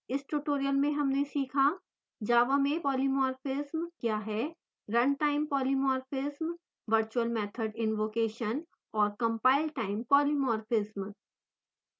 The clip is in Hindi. इस tutorial में हमने सीखा